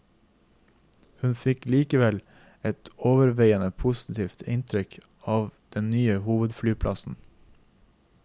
Hun fikk likevel et overveiende positivt inntrykk av den nye hovedflyplassen.